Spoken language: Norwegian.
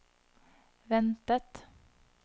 ventet